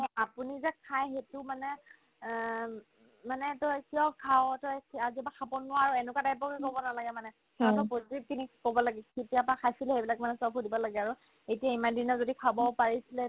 নহয় আপুনি যে খাই সেইটো মানে অ উম মানে তই কিয় খাৱ তই আজিৰ পৰা খাব নোৱাৰ এনেকুৱা type ৰ বুলি ক'ব নালাগে মানে তাৰ পৰা প্ৰত্যেকখিনি ক'ব লাগে কেতিয়াৰ পৰা খাইছিলি এইবিলাক মানে চব সুধিব লাগে আৰু এতিয়া ইমানদিনে যদি খাব পাৰিছিলে